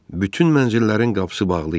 Bütün mənzillərin qapısı bağlı idi.